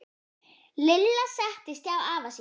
Lilla settist hjá afa sínum.